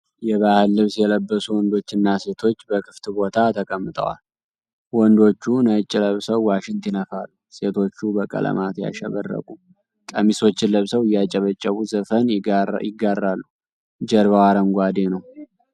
የባህል ልብስ የለበሱ ወንዶችና ሴቶች በክፍት ቦታ ተቀምጠዋል። ወንዶቹ ነጭ ለብሰው ዋሽንት ይነፋሉ፤ ሴቶቹም በቀለማት ያሸበረቁ ቀሚሶችን ለብሰው እያጨበጨቡ ዘፈን ይጋራሉ። ጀርባው አረንጓዴ ነው።